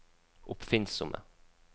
oppfinnsomme